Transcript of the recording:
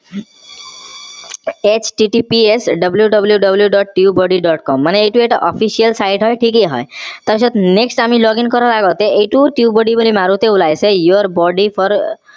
sttps wwww. tubebuddy. com মানে এইটো এটা official side হয় তাৰ পিছত next আমি login কৰাৰ আগতে এইটো tubebuddy বুলি মাৰোতে ওলাইছে your buddy for